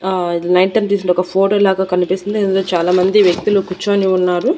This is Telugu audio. ఆ ఇది నైట్ టైం తీసుండే ఒక ఫోటో లాగా కనిపిస్తుంది ఇందులో చాలామంది వ్యక్తులు కుర్చొని ఉన్నారు.